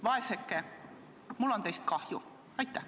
Vaeseke, mul on teist kahju!